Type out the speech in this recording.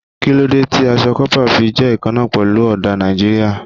Kí ló dé tí aṣọ kọ́pà fi jẹ́ ìkanna pẹ̀lú ọdà Nàìjíríà?